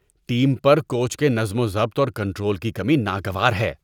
Team پر coach کے نظم و ضبط اور کنٹرول کی کمی ناگوار ہے۔